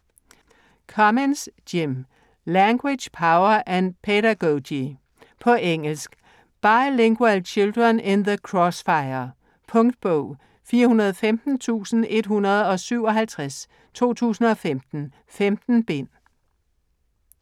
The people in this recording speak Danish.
Cummins, Jim: Language, power and pedagogy På engelsk. Bilingual children in the crossfire. Punktbog 415157 2015. 15 bind.